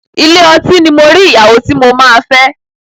Ilé ọtí ni mo rí ìyàwó tí mo máa fẹ́.